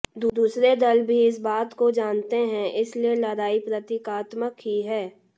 दूसरे दल भी इस बात को जानते हैं इसीलिए लड़ाई प्रतीकात्मक ही है